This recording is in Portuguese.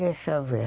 Deixa eu ver.